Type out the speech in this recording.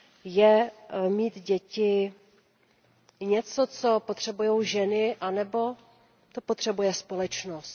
Je mít děti něco, co potřebují ženy, anebo to potřebuje společnost?